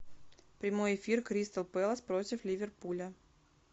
прямой эфир кристал пэлас против ливерпуля